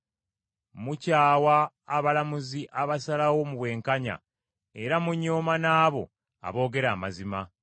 Mukyawa abalamuzi abasalawo mu bwenkanya era munyooma n’abo aboogera amazima.